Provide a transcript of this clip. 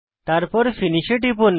তারপর ফিনিশ এ টিপুন